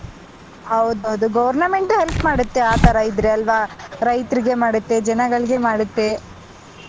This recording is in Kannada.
ಹೌದು ಹೌದು government help ಮಾಡುತ್ತೆ ಆತರ ಇದ್ರೆ ಅಲ್ವಾ ರೈತ್ರಿಗೆ ಮಾಡುತ್ತೆ ಜನಗಳಿಗೆ ಮಾಡುತ್ತೆ.